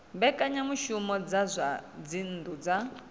mbekanyamushumo dza zwa dzinnu dza